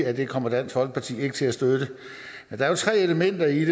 at det kommer dansk folkeparti ikke til at støtte der er tre elementer i